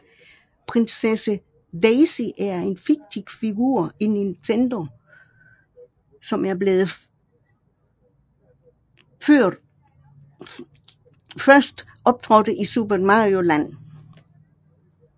Prinsesse Daisy er en fiktiv figur i Nintendo som er blevet først optrådte i Super Mario Land